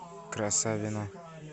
красавино